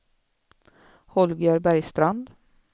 Holger Bergstrand